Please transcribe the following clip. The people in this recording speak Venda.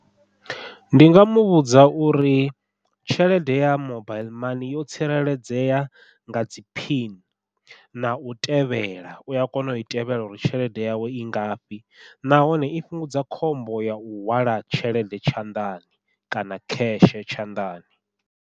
Ndi nga muvhudza uri tshelede ya mobaiḽi mani yo tsireledzea nga dzi phini, nau tevhela uya kona ui tevhela uri tshelede yawe i ngafhi nahone i fhungudza khombo yau hwala tshelede tshanḓani kana cash tshanḓani.